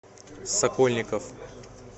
сокольников